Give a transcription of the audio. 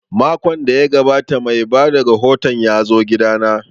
Makon da ya gabata mai bada rahoton ya zo gida na